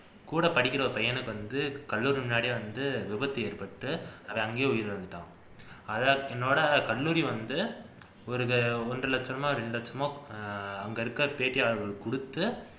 கூடப்படிக்கிற ஒரு பையனுக்கு வந்து கல்லூரி முன்னாடியே வந்து விபத்து ஏற்பட்டு அவன் அங்கேயே உயிரிழந்துட்டான் அதை என்னோட கல்லூரி வந்து ஒரு ஒன்றரை லட்சமோ இரண்டு லட்சமோ அங்க இருக்குற பேட்டியாளர்களுக்கு குடுத்து